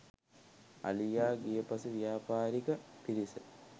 අලියා ගිය පසු ව්‍යාපාරික පිරිස